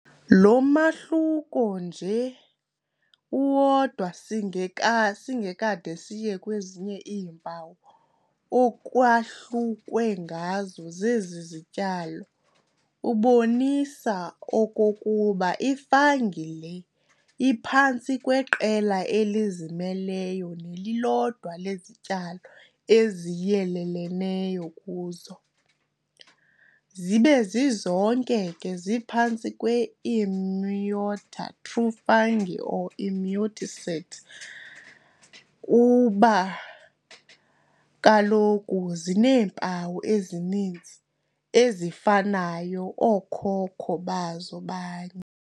Lo mahluko nje uwodwa singeka singekade siye kwezinye iimpawu ekwahlukwe ngazo zezi zityalo, ubonisa okokuba i-fungi le iphantsi kweqela elizimeleyo nelilodwa lezityalo eziyelelene kuzo, zibe zizonke ke ziphantsi kwe-Eumycota, true fungi or Eumycetes, kuba kaloku zineempawu ezininzi ezifanayo, ookhokho bazo banye.